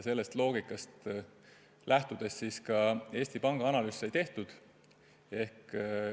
Sellest loogikast lähtudes sai Eesti Panga analüüs tehtud.